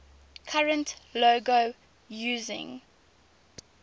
current logo using